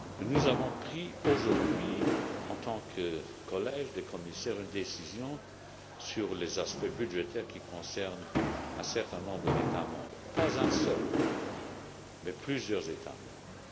Nous avons pris aujourd'hui, en tant que collège des commissaires, une décision sur les aspects budgétaires qui concerne un certain nombre d'États membres non pas un seul, mais plusieurs États membres.